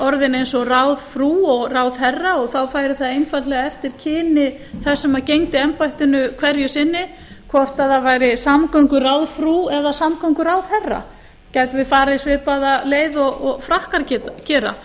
orðin eins og ráðfrú og ráðherra og þá færi það einfaldlega eftir kyni þess sem gegndi embættinu hverju sinni hvort það væri samgönguráðfrú eða samgönguráðherra gætum við farið svipaða leið og frakkar gera